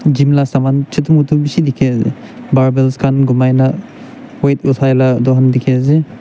gym la saman chutu mutu bishi dikhiase barbells khan gumai na weight othai la edu han dikhiase.